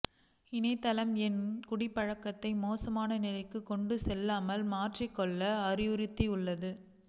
இணையதளம் என் குடிப்பழக்கத்தை மோசமான நிலைக்கு கொண்டுசெல்லாமல் மாற்றிக்கொள்ள அறிவுறுத்தியுள்ளது